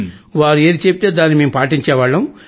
వారు ఏది చెబితే దానిని మేం పాటించేవాళ్లం